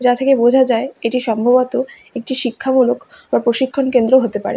যা থেকে বোঝা যায় এটি সম্ববত একটি শিক্ষামূলক বা প্রশিক্ষণ কেন্দ্র হতে পারে।